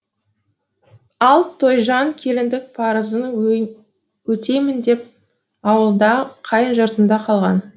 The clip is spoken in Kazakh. ал тойжан келіндік парызын өтеймін деп ауылда қайын жұртында қалған